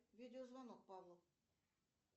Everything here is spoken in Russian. видеозвонок павлу